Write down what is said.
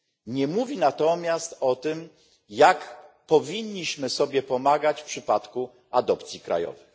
Nie mówi natomiast o tym, jak powinniśmy sobie pomagać w przypadku adopcji krajowej.